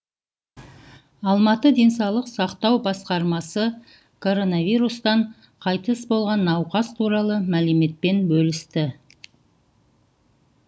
алматы денсаулық сақтау басқармасы коронавирустан қайтыс болған науқас туралы мәліметпен бөлісті